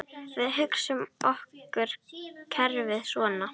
Við hugsum okkur kerfið svona